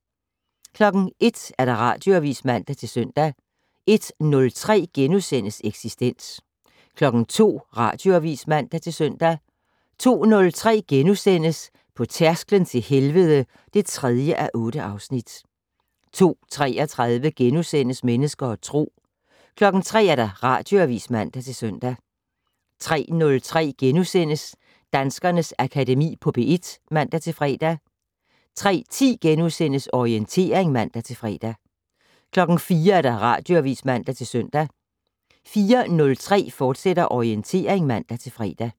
01:00: Radioavis (man-søn) 01:03: Eksistens * 02:00: Radioavis (man-søn) 02:03: På tærsklen til helvede (3:8)* 02:33: Mennesker og Tro * 03:00: Radioavis (man-søn) 03:03: Danskernes Akademi på P1 *(man-fre) 03:10: Orientering *(man-fre) 04:00: Radioavis (man-søn) 04:03: Orientering, fortsat (man-fre)